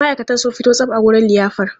Ma'aikatan sun fito tsab a wurin liyafar.